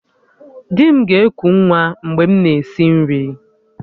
Di m ga-eku nwa mgbe m na-esi nri